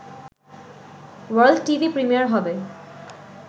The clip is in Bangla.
ওয়ার্ল্ড টিভি প্রিমিয়ার হবে